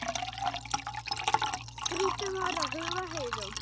Kristín var að hugga Heiðu.